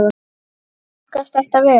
Smakkast þetta vel?